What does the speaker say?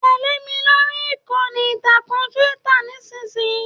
Tẹle mi lórí ìkànnì ìtàkùn Twitter nisinyii!